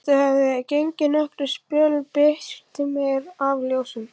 Þegar þau höfðu gengið nokkurn spöl birti meir af ljósum.